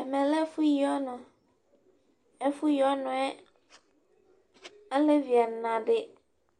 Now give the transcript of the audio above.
Ɛvɛ lɛ ɛfʋyiɔnʋ Alevi ɛna dɩnɩ